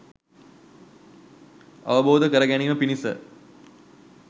අවබෝධ කැර ගැනීම පිණිස